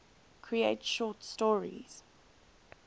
create short stories